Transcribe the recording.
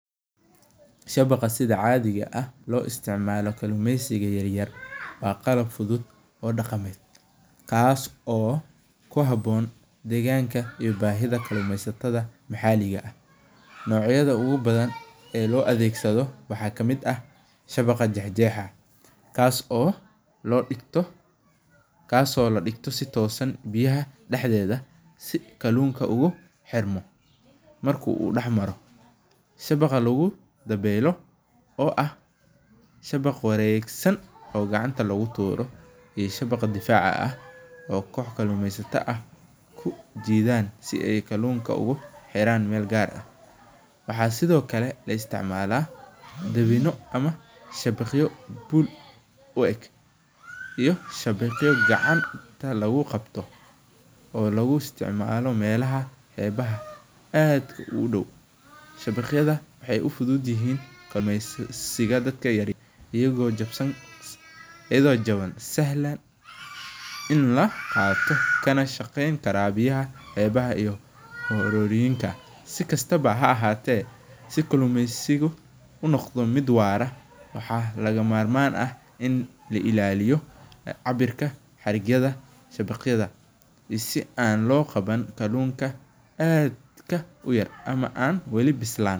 Shabaqa sida caadiga ah loo isticmaalo kalluumeysiga yar yar waa qalab fudud oo dhaqamed kaas oo kuhaboon deegganka iyo bahida kalluumeysatada maxaliga ah, nocyada ogu badan ee loo adeegsado waxa kamid ah shabaqa jex jexa ah kaas oo ladhigto si toosan biyaha dhaxdooda si kalluunka ugu xirmo marka uu dhax maro, shabaqa lugu daboolo oo ah shabaq waregsan oo gacanta lugu tuuro iyo shabaqa difaaca ah oo kox kalluumeysata ah kujidaan si kalluunka ay ogu xiraan Mel gaar ah, waxa sidokale la isticmaala daabino ama shabaqyo pool u eg iyo shabaqyo gacanta lugu qabto oo lugu isticmaalo melaha qeb yaha aad u dhow, shabaqyada waxay u fudud yihiin kalluumeysiga dadka yar ayago jabsan kara si sahlan in la qaato kana shaqeyn kara biyaha qeebaha iyo arurinta, si kastaba ha ahaate si kallumeysigu u noqdo mid waara waxa laga marman ah in la illaliyo cabirka xarigyada shabaqyada si an loo qaban kallunka aadka uyar ama an weli bislan